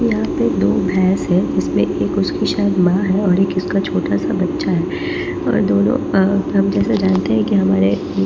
यहाँ पे दो भैंस है उसमें एक उसकी शायद माँ है और एक उसका छोटा सा बच्चा है और दोनों अ हम जैसा जानते हैं कि हमारे--